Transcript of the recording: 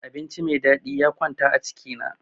Abinci me dadi ya kwanta a ciki na.